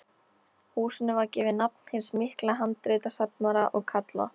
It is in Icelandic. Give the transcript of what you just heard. Húsinu var gefið nafn hins mikla handritasafnara og kallað